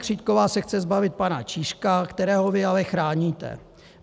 Křítková se chce zbavit pana Čížka, kterého vy ale chráníte.